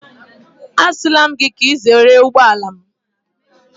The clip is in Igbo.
Asịla m gị ka ị zere ụgbọala m.